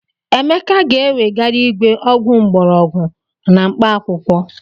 Emeka ga-ewegara igwe ọgwụ mgbọrọgwụ na mkpaakwụkwọ.